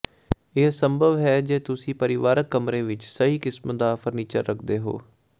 ਇਹ ਸੰਭਵ ਹੈ ਜੇ ਤੁਸੀਂ ਪਰਿਵਾਰਕ ਕਮਰੇ ਵਿਚ ਸਹੀ ਕਿਸਮ ਦਾ ਫਰਨੀਚਰ ਰੱਖਦੇ ਹੋ